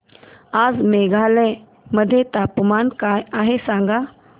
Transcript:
आज मेघालय मध्ये तापमान काय आहे सांगा